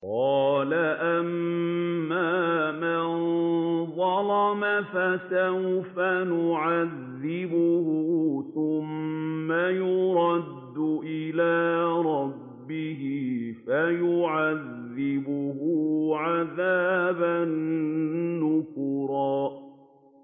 قَالَ أَمَّا مَن ظَلَمَ فَسَوْفَ نُعَذِّبُهُ ثُمَّ يُرَدُّ إِلَىٰ رَبِّهِ فَيُعَذِّبُهُ عَذَابًا نُّكْرًا